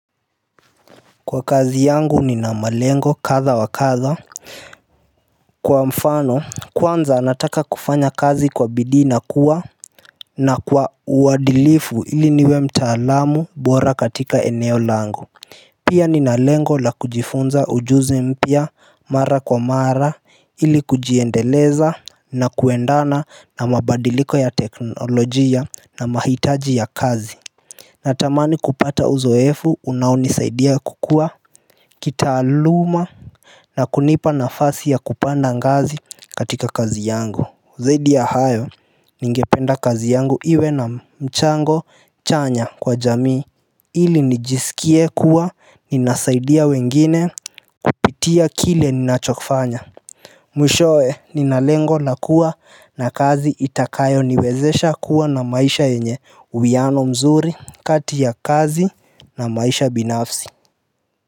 Kwa kazi yangu ni na malengo kadha wa kadha Kwa mfano kwanza nataka kufanya kazi kwa bidii na kuwa na kwa uadilifu ili niwe mtaalamu bora katika eneo langu Pia nina lengo la kujifunza ujuzi mpya mara kwa mara ili kujiendeleza na kuendana na mabadiliko ya teknolojia na mahitaji ya kazi Natamani kupata uzoefu unauni saidia kukua kita aluma na kunipa nafasi ya kupanda ngazi katika kazi yangu zaidi ya hayo ningependa kazi yangu iwe na mchango chanya kwa jamii ili nijisikie kuwa ninasaidia wengine kupitia kile ninachokifanya Mwishoe ninalengo na kuwa na kazi itakayo niwezesha kuwa na maisha yenye uwiano mzuri kati ya kazi na maisha binafsi.